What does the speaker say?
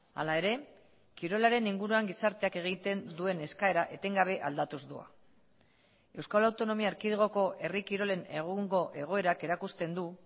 hala ere kirolaren inguruan gizarteak egiten duen eskaera etengabe aldatuz doa euskal autonomia erkidegoko herri kirolen egungo egoerak erakusten du